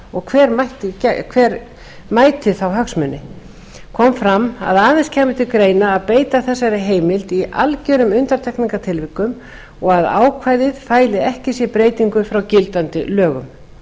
og hver mæti þá hagsmuni kom fram að aðeins kæmi til greina að beita þessari heimild í algerum undantekningartilvikum og að ákvæðið fæli ekki í sér breytingu frá gildandi lögum